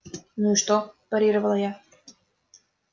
ну и что парировала я